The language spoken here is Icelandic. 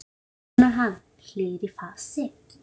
básúnar hann, hlýr í fasi.